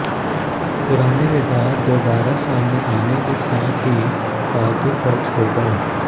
पुराने विवाद दोबारा सामने आने के साथ ही फालतू खर्च होगा